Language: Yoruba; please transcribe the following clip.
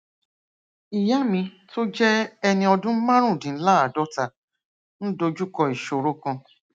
ìyá mi tó jé ẹni ọdún márùndínláàádóta ń dojú kọ ìṣòro kan